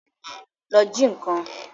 Lọ ji nǹkan!